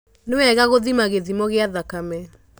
Nĩwega gũthima gĩthimo gĩa thakame.